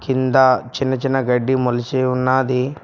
కింద చిన్న చిన్న గడ్డి మొలిసి ఉన్నాది.